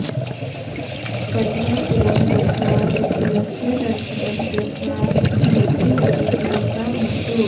पण्डरापुरं गत्वा विठ्ठलस्य दर्शनं कृत्वा भवती अपि पुनीता भवतु